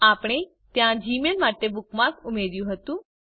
આપણે ત્યાં જીમેઇલ માટે બુકમાર્ક ઉમેર્યું હતું